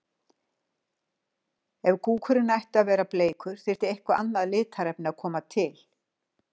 Ef kúkurinn ætti að vera bleikur þyrfti eitthvert annað litarefni að koma til.